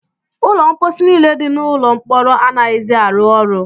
Ụlọ mposi niile dị n'ụlọ mkpọrọ anaghịzi arụ ọrụ.